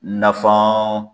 Nafan